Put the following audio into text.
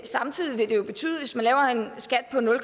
samtidig vil det betyde